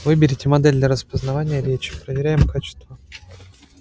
выберите модель для распознавания речи проверяем качество